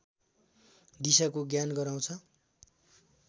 दिशाको ज्ञान गराउँछ